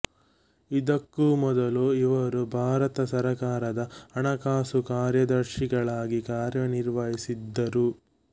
ಇದಕ್ಕೂ ಮೊದಲು ಇವರು ಭಾರತ ಸರಕಾರದ ಹಣಕಾಸು ಕಾರ್ಯದರ್ಶಿಗಳಾಗಿ ಕಾರ್ಯನಿರ್ವಹಿಸಿದ್ದರು